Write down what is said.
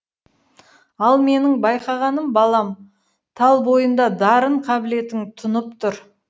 ал менің байқағаным балам тал бойыңда дарын қабілетің тұнып тұр